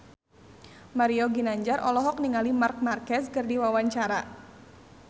Mario Ginanjar olohok ningali Marc Marquez keur diwawancara